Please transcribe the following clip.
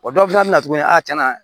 O dɔw fana bɛ na tuguni a tiɲɛna